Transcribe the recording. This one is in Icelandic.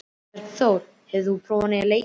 Bergþóra, hefur þú prófað nýja leikinn?